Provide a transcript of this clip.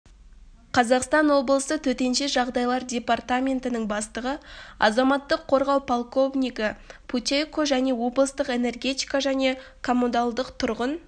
қазақстан облысы төтенше жағдайлар департаментінің бастығы азаматтық қорғау полковнигі путейко және облыстық энергетика және коммуналдық-тұрғын